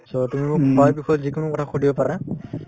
so, তুমি মোক খোৱাৰ বিষয়ে যিকোনো কথা সুধিব পাৰা